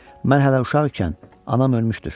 Mən hələ uşaq ikən anam ölmüşdür.